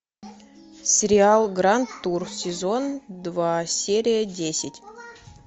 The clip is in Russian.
сериал гранд тур сезон два серия десять